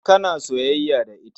Kana soyayya da ita.